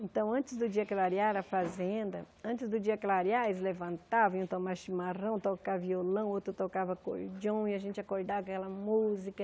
Então, antes do dia clarear na fazenda, antes do dia clarear, eles levantavam, iam tomar chimarrão, tocar violão, outro tocava acordeão, e a gente acordava com aquela música.